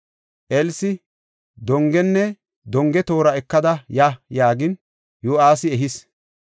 Elsi, “Dongenne donge toora ekada ya” yaagin, Yo7aasi ehis.